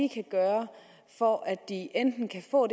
kan gøre for at de enten kan få